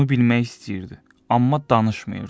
Bunu bilmək istəyirdi, amma danışmırdı.